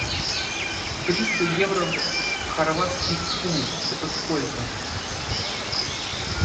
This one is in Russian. триста евро в хорватский кун это сколько